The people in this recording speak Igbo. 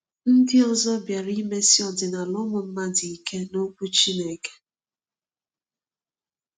Ndị ọzọ bịara imesi ọdịnala ụmụ mmadụ ike n’Okwu Chineke.